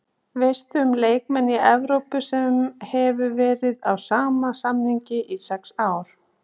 Veistu um leikmann í Evrópu sem hefur verið á sama samning í sex ár?